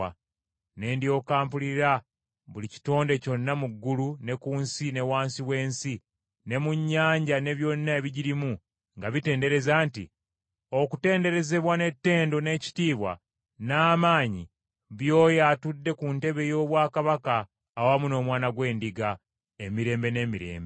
Ne ndyoka mpulira buli kitonde kyonna mu ggulu ne ku nsi ne wansi w’ensi ne mu nnyanja ne byonna ebigirimu nga bitendereza nti, “Okutenderezebwa, n’ettendo, n’ekitiibwa, n’amaanyi by’Oyo atudde ku ntebe y’obwakabaka awamu n’Omwana gw’Endiga, Emirembe n’emirembe.”